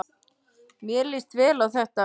Mér líst vel á þetta.